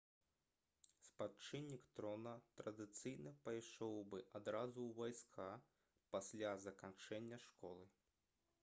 спадчыннік трона традыцыйна пайшоў бы адразу ў войска пасля заканчэння школы